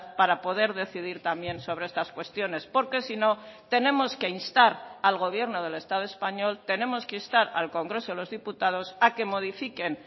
para poder decidir también sobre estas cuestiones porque si no tenemos que instar al gobierno del estado español tenemos que instar al congreso de los diputados a que modifiquen